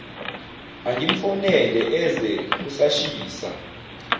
angimfonele eze kusashisa